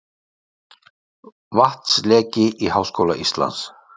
Vatnsleki í Háskóla Íslands